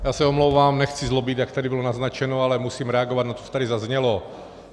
Já se omlouvám, nechci zlobit, jak tady bylo naznačeno, ale musím reagovat na to, co tady zaznělo.